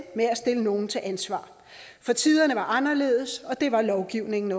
med at stille nogen til ansvar for tiderne var anderledes og det var lovgivningen